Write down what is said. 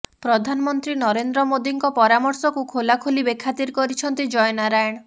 ପ୍ରଧାନମନ୍ତ୍ରୀ ନରେନ୍ଦ୍ର ମୋଦିଙ୍କ ପରାମର୍ଶକୁ ଖୋଲାଖୋଲି ବେଖାତିର କରିଛନ୍ତି ଜୟନାରାୟଣ